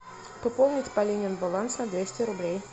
пополнить полинин баланс на двести рублей